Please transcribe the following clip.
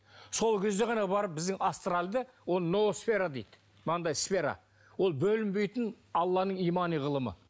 сол кезде ғана барып біздің астральді ол ноосфера дейді мынандай сфера ол бөлінбейтін алланың имани ғылымы